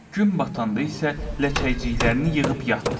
Gün batanda isə ləçəklərini yığıb yatdı.